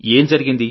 ఏం జరిగింది